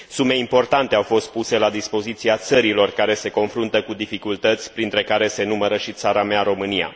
Sume importante au fost puse la dispoziția țărilor care se confruntă cu dificultăți, printre care se numără și țara mea, România.